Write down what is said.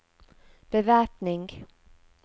bevæpning